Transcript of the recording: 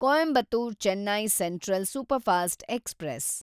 Coimbatore Chennai central superfast express